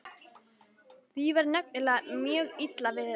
Því var nefnilega mjög illa við þetta.